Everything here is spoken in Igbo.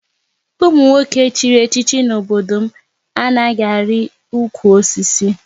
Ụmụ nwoke chịrị echichi n'obodo m anaghị ari ụkwụ osisi